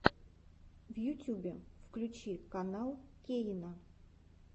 в ютюбе включи канал кейна